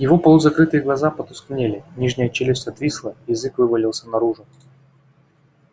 его полузакрытые глаза потускнели нижняя челюсть отвисла язык вывалился наружу